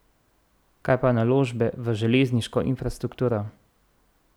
Kaj pa naložbe v železniško infrastrukturo?